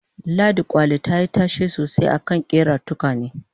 ladi kwali tayi tashe sosai a fannin ƙera tukwane